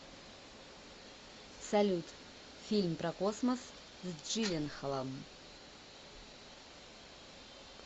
салют фильм про космос с джилленхолом